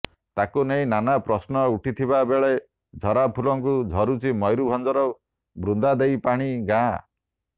ତାକୁ ନେଇ ନାନା ପ୍ରଶ୍ନ ଉଠିଥିବାବେଳେ ଝରାଫୁଲଙ୍କୁ ଝୁରୁଛି ମୟୁରଭଞ୍ଜର ବୃନ୍ଦାଦେଇପଶି ଗାଁ